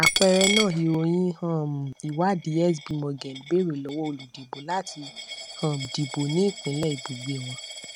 àpẹẹrẹ náà ìròyìn um ìwádìí sb morgen bèrè lọwọ olùdìbò láti um dìbò ní ìpínlẹ ibùgbé wọn